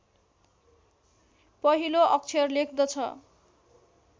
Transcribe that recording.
पहिलो अक्षर लेख्दछ